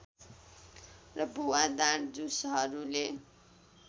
र भुवादार झुसहरूले